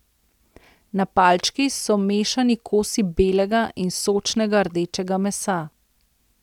Na palčki so mešani kosi belega in sočnega rdečega mesa.